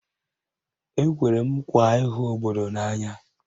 Ekwere m nkwa ịhụ obodo n'anya